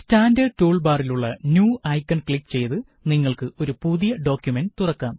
standard tool ബാറിലുള്ള new icon click ചെയ്ത് നിങ്ങള്ക്ക് ഒരു പുതിയ ഡോക്കുമന്റ് തുറക്കാം